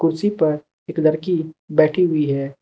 कुर्सी पर एक लड़की बैठी हुई है।